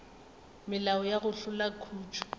melao ya go hlola khutšo